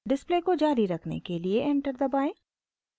display को जारी रखने के लिए एंटर दबाएं